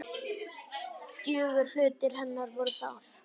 Drjúgur hluti hennar var Þórður.